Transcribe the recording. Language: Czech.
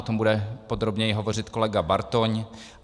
O tom bude podrobněji hovořit kolega Bartoň.